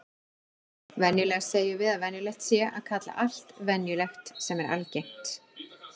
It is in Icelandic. Venjulega segjum við að venjulegt sé að kalla allt venjulegt sem er algengt.